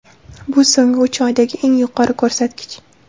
Bu so‘nggi uch oydagi eng yuqori ko‘rsatkich.